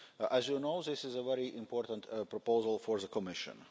As you know, this is a very important proposal for the Commission.